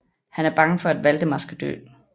Han er bange for at Waldemar skal dør